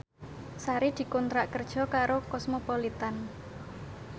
Sari dikontrak kerja karo Cosmopolitan